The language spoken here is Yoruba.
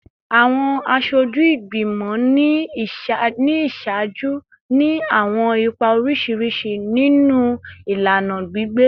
Awọn aṣoju igbimọ ni iṣaaju ni awọn ipa oriṣiriṣi ninu ilana gbigbe